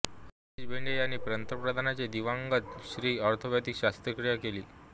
हरीश भेंडे यांनी पंतप्रधानांचे दिवंगत श्री ऑर्थोपेडिक शस्त्रक्रिया केली